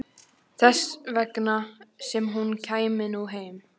Þess vegna sem hún kæmi nú heim.